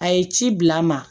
A ye ci bila n ma